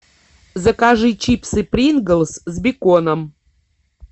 закажи чипсы принглс с беконом